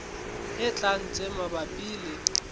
e tlang tse mabapi le